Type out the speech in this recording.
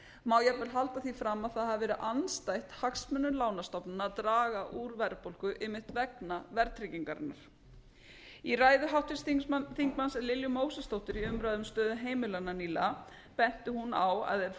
má jafnvel halda því fram að það hafi verið andstætt hagsmunum lánastofnana að draga úr verðbólgu einmitt vegna verðtryggingarinnar í ræðu háttvirts þingmanns lilju mósesdóttur í umræðu um stöðu heimilanna nýlega benti hún á að ef